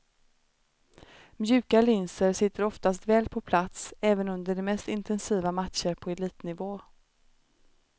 Mjuka linser sitter oftast väl på plats, även under de mest intensiva matcher på elitnivå.